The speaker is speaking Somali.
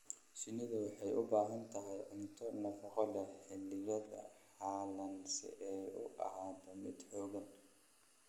Shinnidu waxay u baahan tahay cunto nafaqo leh xilliyada qalalan si ay u ahaato mid xooggan.